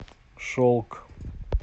шелк